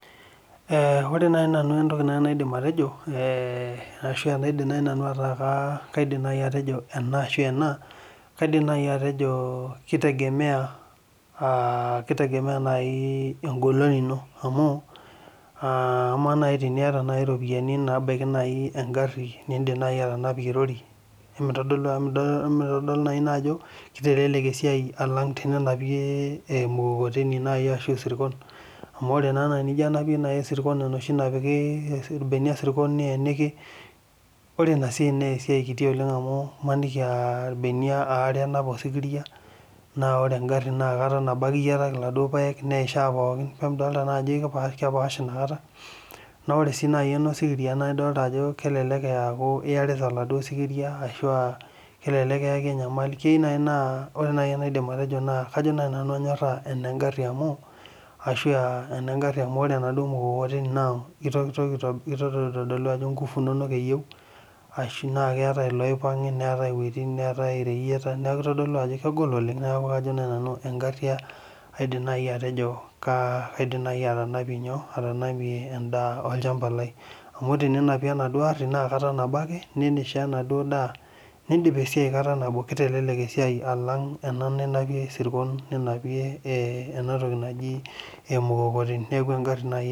Ore nai nanu entoki naidim atejo eeh ashu enaa kaidim nai atejo ena ashu ena kaidim nai atejo kitegemea kitegemea nai en'golon ino amu amaa nai teniata iropiani naabaya nai engharhi niidim nai atanapie rori Emitodolu ajo emiodolu nai ina ajo kitelelek esiai alang' teninapie emukokoteni nai ashu isirkon amu ore naa nai tenijo anapie isirkon enoshi toki napiki ilbenia isirkon niyeniki ore ina siai naa kiti oleng' amu imaniki aa ilbenia aare enep osikiria naa ore engharhi naa kata nabo ake iyietaki iladuo paek neishaa pookin paa midolita ajo kepaash inakata naa ore sii nai enosikiria naa idolita ajo kelelek eeku iyarita oladuo sikiria ashu aaa kelelek iyaki enyamali ashu aa keyieu naai naa enaidim atejo naa kajo nai nanu anyorhaa enegharhi amu ore enaduo mukokoteni naa kitoki aitodolu ajo nguvu inonok eyieu ashu naa keetai iloipangi neetai ireyieta niaku itodolu ajo kegol oleng' neaku kajo nai nanu egharhi ajo nai nanu egharhi kaa kaidim nai atanapie nyoo en'daa olchamba lai amu teninapie enadu arhi naa kata nabo ake niishaa enaduo daa nindip esiai kata nabo kitelelek esiai alang' ena ninapie isirkon ninapoe enatoki naji emukomoteni niaku engharhi nai